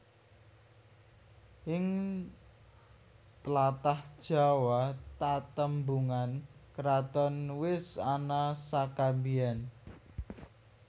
Ing tlatah Jawa tatembungan kraton wis ana saka biyen